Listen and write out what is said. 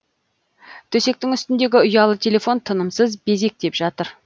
төсектің үстіндегі ұялы телефон тынымсыз безектеп жатыр